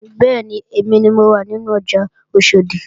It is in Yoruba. Bẹ́ẹ̀ni, èmi ni mo wà nínú ọjà Oṣòdì